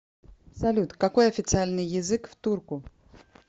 салют какой официальный язык в турку